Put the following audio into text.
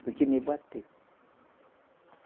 Foi que me bateu.